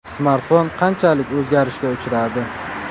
Smartfon qanchalik o‘zgarishga uchradi?